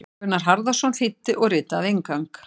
Gunnar Harðarson þýddi og ritaði inngang.